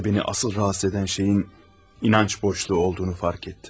İçimdə məni əsas narahat edən şeyin inanc boşluğu olduğunu fərq etdim.